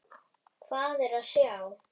Hvað er að sjá